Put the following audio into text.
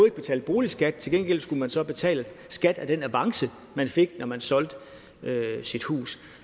ikke betale boligskat til gengæld skulle man så betale skat af den avance man fik når man solgte sit hus